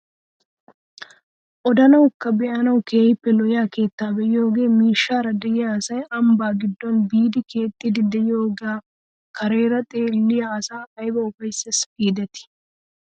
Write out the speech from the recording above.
Odanawukka be'anawu keehippe lo'iyaa keettaa be'iyoogee miishshaara de'iyaa asay ambbaa giddon biidi keexxidi de'iyoogee kareera xelliyaa asaa ayba ufayssees gidetii!